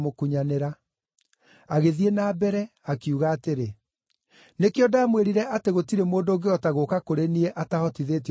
Agĩthiĩ na mbere, akiuga atĩrĩ, “Nĩkĩo ndamwĩrire atĩ gũtirĩ mũndũ ũngĩhota gũũka kũrĩ niĩ atahotithĩtio nĩ Baba.”